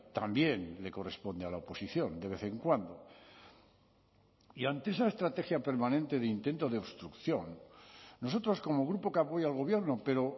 también le corresponde a la oposición de vez en cuando y ante esa estrategia permanente de intento de obstrucción nosotros como grupo que apoya al gobierno pero